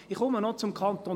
Ich komme noch zum Kanton